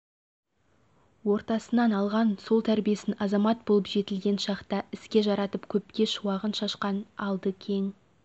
ортасынан алған сол тәрбиесін азамат болып жетілген шақта іске жаратып көпке шуағын шашқан алды кең